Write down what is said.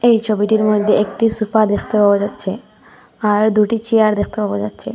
এই ছবিটির মধ্যে একটি সোফা দেখতে পাওয়া যাচ্ছে আর দুটি চেয়ার দেখতে পাওয়া যাচ্ছে।